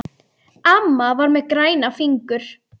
Amma var með græna fingur.